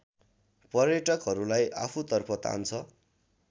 पर्यटकहरूलाई आफूतर्फ तान्छ